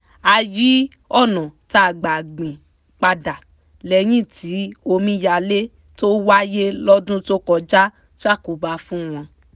a yí ọ̀nà tá gbà gbìn padà lẹ́yìn tí omíyalé tó wáyé lọ́dún tó kọjá ṣàkóbá fún wọn